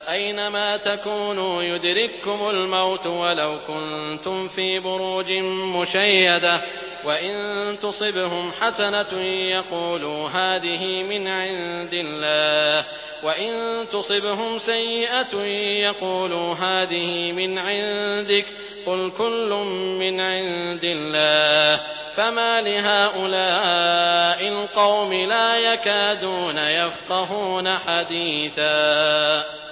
أَيْنَمَا تَكُونُوا يُدْرِككُّمُ الْمَوْتُ وَلَوْ كُنتُمْ فِي بُرُوجٍ مُّشَيَّدَةٍ ۗ وَإِن تُصِبْهُمْ حَسَنَةٌ يَقُولُوا هَٰذِهِ مِنْ عِندِ اللَّهِ ۖ وَإِن تُصِبْهُمْ سَيِّئَةٌ يَقُولُوا هَٰذِهِ مِنْ عِندِكَ ۚ قُلْ كُلٌّ مِّنْ عِندِ اللَّهِ ۖ فَمَالِ هَٰؤُلَاءِ الْقَوْمِ لَا يَكَادُونَ يَفْقَهُونَ حَدِيثًا